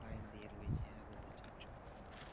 Line দিয়ে রয়েছে আরো দু-চারজন।